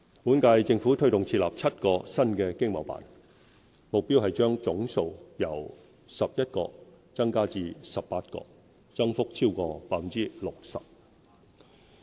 本屆政府推動設立7個新的經貿辦，目標是將總數由11個增加至18個，增幅超過 60%。